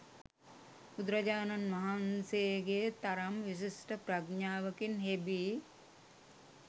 බුදුරජාණන් වහන්සේගේ තරම් විශිෂ්ට ප්‍රඥාවකින් හෙබි